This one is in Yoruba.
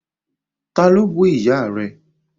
Ta ló bú ìyá rẹ?